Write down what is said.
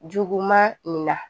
Juguman nin na